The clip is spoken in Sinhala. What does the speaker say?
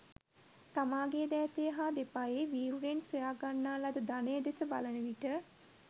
තමාගේ දෑතේ හා දෙපයේ වීර්යෙන් සොයා ගන්නා ලද ධනය දෙස බලන විට